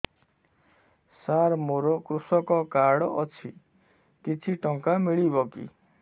ସାର ମୋର୍ କୃଷକ କାର୍ଡ ଅଛି କିଛି ଟଙ୍କା ମିଳିବ କି